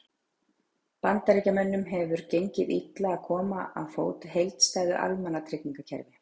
Bandaríkjamönnum hefur gengið illa að koma á fót heildstæðu almannatryggingakerfi.